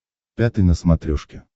пятый на смотрешке